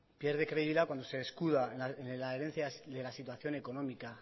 pierde credibilidad cuando se escuda en la herencia de la situación económica